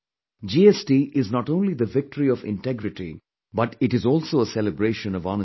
GST is not only the victory of integrity but it is also a celebration of honesty